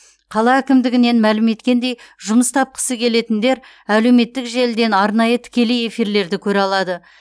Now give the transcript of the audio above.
қала әкімдігінен мәлім еткендей жұмыс тапқысы келетіндер әлеуметтік желіден арнайы тікелей эфирлерді көре алады